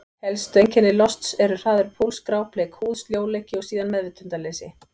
Helstu einkenni losts eru: hraður púls, grábleik húð, sljóleiki og síðan meðvitundarleysi.